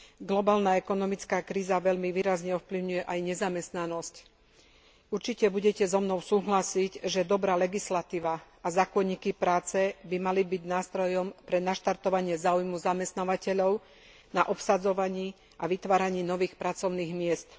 Globálna ekonomická kríza veľmi výrazne ovplyvňuje aj nezamestnanosť. Určite budete so mnou súhlasiť, že dobrá legislatíva a zákonníky práce by mali byť nástrojom pre naštartovanie záujmu zamestnávateľov na obsadzovaní a vytváraní nových pracovných miest.